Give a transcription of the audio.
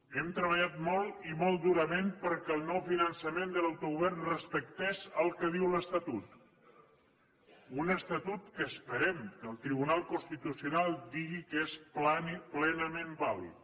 hem treballat molt i molt durament perquè el nou finançament de l’autogovern respectés el que diu l’estatut un estatut que esperem que el tribunal constitucional digui que és plenament vàlid